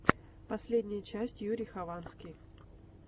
последняя часть юрий хованский